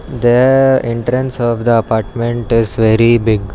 The entrance of the apartment is very big.